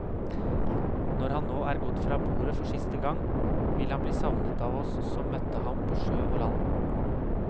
Når han nå er gått fra borde for siste gang, vil han bli savnet av oss som møtte ham på sjø og land.